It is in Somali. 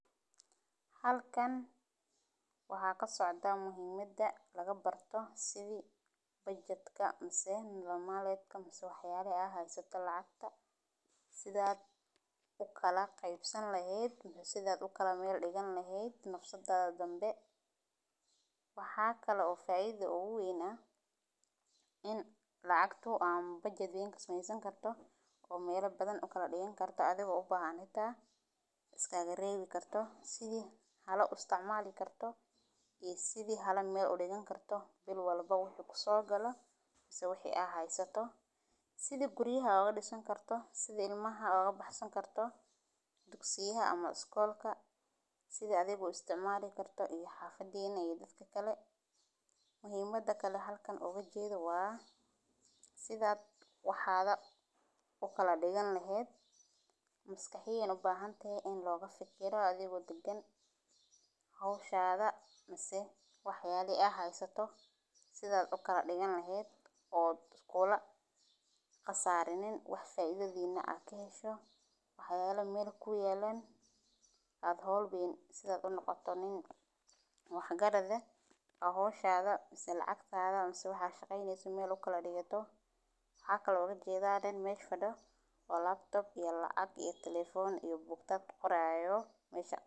Halkaan waxa kasocda muhiimada lagabarto sidha budgetka mise maleetka mise wax yalaha ad heysata lacagta sidha ad ukalaqeybasani laheed ama sidha ukala meel digani laheednafsadadha danbe. Waxa kale oo faidhadha ugaweyna aah in lacagto ama budget weyn kasameysani karto oo meela badan ukala digani kartoo adigo ubahaan inta iskaga reewi karto sidhi hala uu isticmali karto oo sidhi hala meel udigani kartoo biil walba wuxu kusogalo misi wixi waah ad haysato sidhi guriyaha aad udisani kartoo sidhii ilmaha aad ugabaxsani kartoo dugsiayaha ama skoolka sidhi adhi u isticmali kartoo iyo xafadini iyo kuwi kale. Muhiimada kala halkaan ugajeedo waa sidha waxaga ukaladigani leheed maskaxiyan ubahanatahe in loga fikiro adigo dagaan hawsahaga mise waxyalihi aad haysato sidha ukaladigani leheed oo kula qasarinin oo faidhadhet na aad kahesho wax yaal meel kuyaalan aad hawl biin sidha aad unaqato nin wax gaarad eeh hawshadha mise lacagtada mise waxad shaqaynaysid aad meel ukadigito. Waxa kala ujedha nin meel faado oo laptop iyo lacaq iyo telephone iyo bookta kuqorayo mesha.